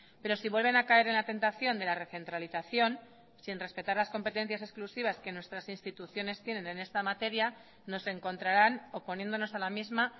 pero si vuelven a caer en la tentación de la recentralización sin respetar las competencias exclusivas que nuestras instituciones tienen en esta materia nos encontrarán oponiéndonos a la misma